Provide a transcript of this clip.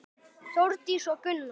Þórdís og Gunnar.